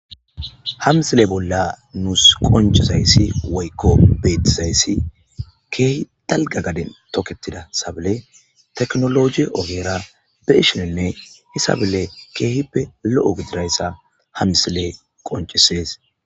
Ha mislee bolla nuussi qonccezayssi woykko beeththizayssi keehi dalgga gaden tokeththida sablee tachnoologe ogeera be7ishininne sablee keehippe lo7o gidira iza ha mislee qonccissees.